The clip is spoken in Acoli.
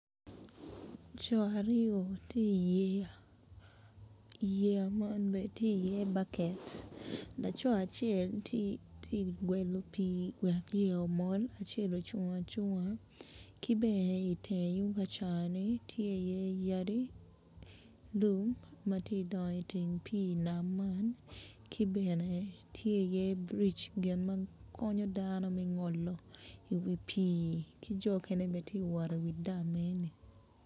Coo aryo matye i yeya , yeya man bene tye i ye backet laco acel acel tye ka gwelo pii wek yeya mol acel ocung acunga ki bene iteng tung kacani tye i iye yadi ki lum matye idongo iteng pii nam man ki bene tye i iye brig gin man konyo dano me ngolo wi pii ki jo mukene bene tye kawot iwi dam eni